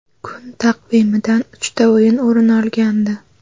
Kun taqvimidan uchta o‘yin o‘rin olgandi.